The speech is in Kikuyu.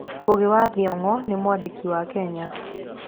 Ngugi wa Thiong'o nĩ mwandĩki wa Kenya.